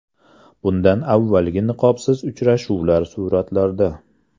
Bundan avvalgi niqobsiz uchrashuvlar suratlarda.